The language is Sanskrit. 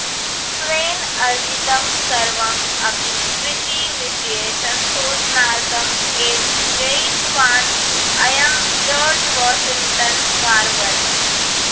स्वेन अर्जितं सर्वम् अपि कृषिविषये संशोधनार्थम् एव व्ययितवान् अयं जार्ज् वाशिङ्ग्टन् कार्वर्